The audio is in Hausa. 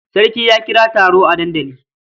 Sarki ya kira taro a dandali.